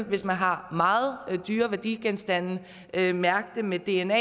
hvis man har meget dyre værdigenstande mærke dem med dna